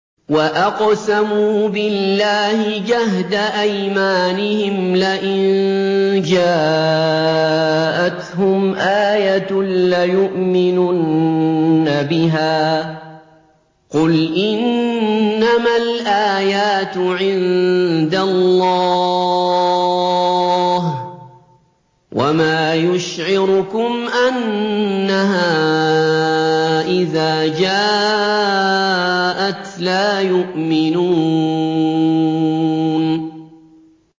وَأَقْسَمُوا بِاللَّهِ جَهْدَ أَيْمَانِهِمْ لَئِن جَاءَتْهُمْ آيَةٌ لَّيُؤْمِنُنَّ بِهَا ۚ قُلْ إِنَّمَا الْآيَاتُ عِندَ اللَّهِ ۖ وَمَا يُشْعِرُكُمْ أَنَّهَا إِذَا جَاءَتْ لَا يُؤْمِنُونَ